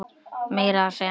Meira að segja mitt